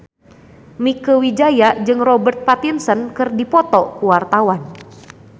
Mieke Wijaya jeung Robert Pattinson keur dipoto ku wartawan